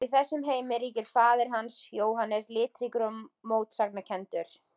Og í þessum heimi ríkir faðir hans, Jóhannes, litríkur og mótsagnakenndur.